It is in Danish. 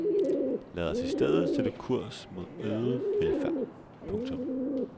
Lad os i stedet sætte kurs mod øget velfærd. punktum